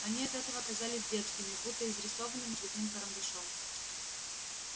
они от этого казались детскими будто изрисованными цветным карандашом